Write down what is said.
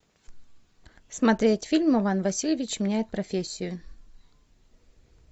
смотреть фильм иван васильевич меняет профессию